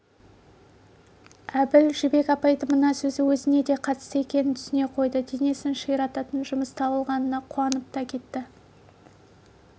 әбіл жібек апайдың мына сөзі өзіне де қатысты екенін түсіне қойды денесін ширататын жұмыс табылғанына қуанып та кетті